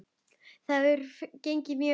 Það hefur gengið mjög vel.